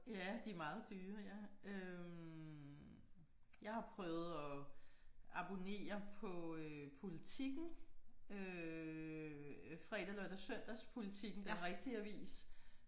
Ja de meget dyre ja øh. Jeg har prøvet at abonnere på Politiken øh fredag lørdag Søndagspolitiken den rigtige avis